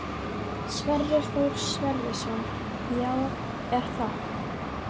Sverrir Þór Sverrisson: Já, er það?